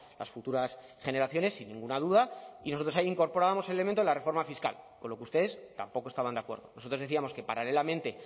las futuras generaciones sin ninguna duda y nosotros ahí incorporábamos el elemento de la reforma fiscal con lo que ustedes tampoco estaban de acuerdo nosotros decíamos que paralelamente